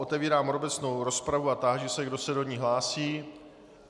Otevírám obecnou rozpravu a táži se, kdo se do ní hlásí.